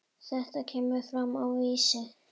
Þetta kemur fram á Vísi.